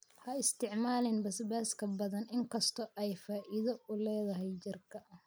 ha isticmaalin basbaaska badan, inkastoo ay faa'iido u leedahay jirka